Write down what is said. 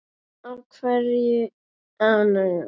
Á kvöldin var oft spilað.